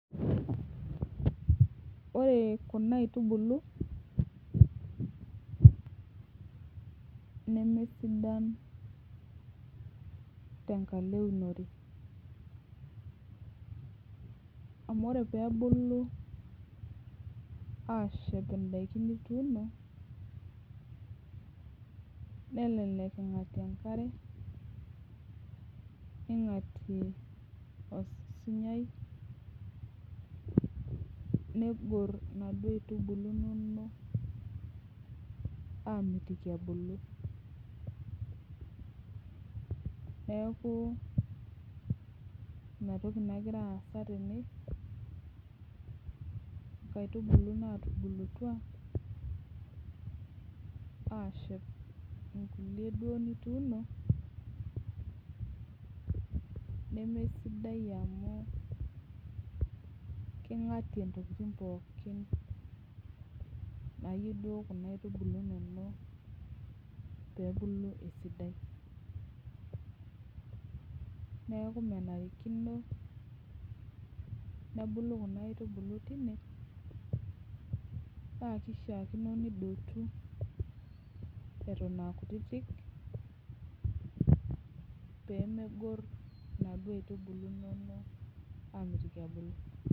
Ore kuna aitubulu nemesidan tenkalo eunore amu ore pee ebulu aashep ndaiki naa kelelek ing'atie enkare ning'atie osinyai, negorr inaduo aitubulu inonok aamitiki ebulu neeku ina toki nagira aasa tene nkaitubulu naatubulutua aashep nkulie duo nituuno nemesidai amu king'atie ntokitin pookin naayieu duo kuna aitubulu inonok pee ebulu esidai neeku menarikino nebulu kuna aitubulu tine paa kishiakino nidotu eton aa kutitik pee megorr inaduo aitubulu inonok aamitiki ebulu.